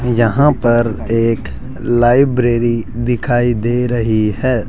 यहां पर एक लाइब्रेरी दिखाई दे रही है।